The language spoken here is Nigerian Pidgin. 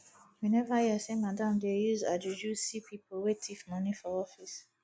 you neva hear sey madam dey use her juju see pipu wey tif moni for office